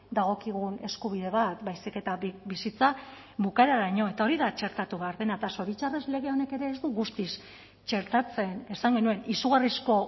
dagokigun eskubide bat baizik eta bizitza bukaeraraino eta hori da txertatu behar dena eta zoritxarrez lege honek ere ez du guztiz txertatzen esan genuen izugarrizko